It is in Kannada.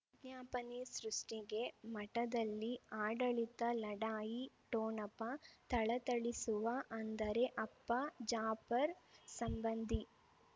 ವಿಜ್ಞಾಪನೆ ಸೃಷ್ಟಿಗೆ ಮಠದಲ್ಲಿ ಆಡಳಿತ ಲಢಾಯಿ ಠೊಣಪ ಥಳಥಳಿಸುವ ಅಂದರೆ ಅಪ್ಪ ಜಾಪರ್ ಸಂಬಂಧಿ